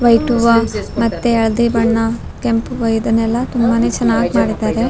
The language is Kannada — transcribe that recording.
ವೈಟ್ ಹೂವ ಮತ್ತೆ ಹಳ್ದಿ ಬಣ್ಣ ಕೆಂಪ್ ಹೂವ ಇದನ್ನೆಲ್ಲಾ ತುಂಬಾನೇ ಚೆನ್ನಾಗ್ ಮಾಡಿದ್ದಾರೆ.